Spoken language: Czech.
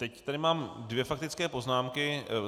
Teď tady mám dvě faktické poznámky.